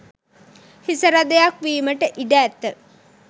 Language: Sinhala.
හිසරදයක් වීමට ඉඩ ඇත.